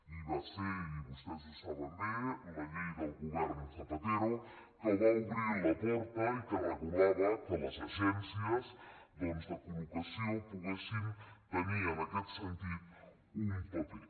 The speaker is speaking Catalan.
i va ser i vostès ho saben bé la llei del govern zapatero que va obrir la porta i que regulava que les agències de collocació poguessin tenir en aquest sentit un paper